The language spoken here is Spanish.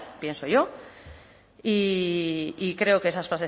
pienso yo y creo que esas